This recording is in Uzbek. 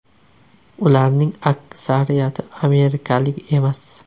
Ularning aksariyati amerikalik emas.